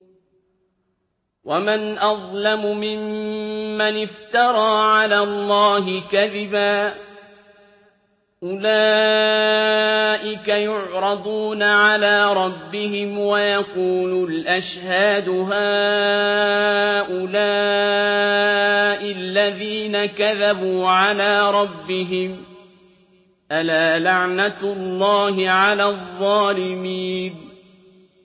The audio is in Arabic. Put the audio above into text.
وَمَنْ أَظْلَمُ مِمَّنِ افْتَرَىٰ عَلَى اللَّهِ كَذِبًا ۚ أُولَٰئِكَ يُعْرَضُونَ عَلَىٰ رَبِّهِمْ وَيَقُولُ الْأَشْهَادُ هَٰؤُلَاءِ الَّذِينَ كَذَبُوا عَلَىٰ رَبِّهِمْ ۚ أَلَا لَعْنَةُ اللَّهِ عَلَى الظَّالِمِينَ